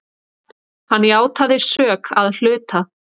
Hann játaði sök að hluta.